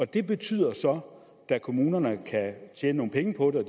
det betyder så da kommunerne kan tjene nogle penge på det og